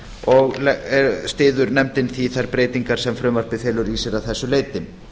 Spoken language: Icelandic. og styður nefndin því þær breytingar sem frumvarpið felur í sér að þessu leyti